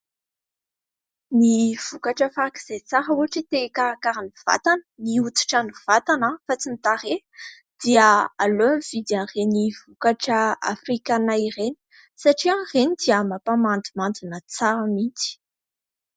Ny vokatra faraka izay tsara ohatra te-hikarakara ny vatana ny hoditra ny vatana aho fa tsy ny tarehy dia aleo mividy an'iren'ny vokatra afrikanina ireny satria ireny dia mampamandimandina tsara mihitsy.